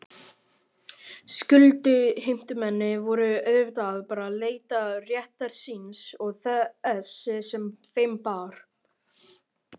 Skuldheimtumenn voru auðvitað bara að leita réttar síns og þess sem þeim bar.